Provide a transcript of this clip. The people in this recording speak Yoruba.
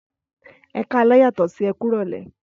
Ẹkalẹ yatọ sí ekurole